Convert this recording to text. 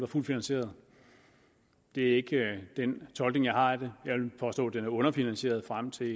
fuldt finansieret det er ikke den tolkning jeg har af det jeg vil påstå at den er underfinansieret frem til